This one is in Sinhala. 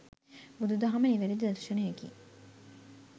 බුදු දහම නිවැරැදි දර්ශනයකි